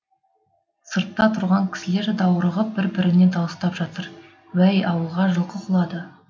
сыртта тұрған кісілер даурығып бір біріне дауыстап жатыр уәй ауылға жылқы құлады